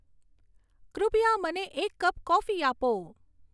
કૃપયા મને એક કપ કોફી આપો